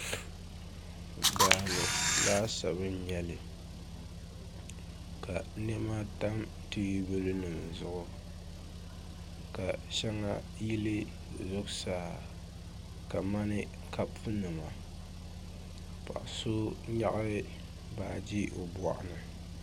Daa ni laasabu n-nyɛli ka nɛma tam teebuya zuɣu ka shɛŋa yili zuɣusaa kamani kɔpunima paɣ’ sonyaɣi baaji o bɔɣu ni